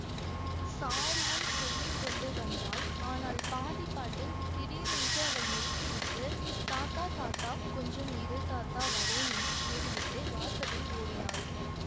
சாருவும் சொல்லி கொண்டு வந்தாள் ஆனால் பாதி பாட்டில் திடீரென்று அவள் நிறுத்திவிட்டு தாத்தா தாத்தா கொஞ்சம் இரு தாத்தா வர்றேன் என்று கூறிவிட்டு வாசலில் ஓடினாள்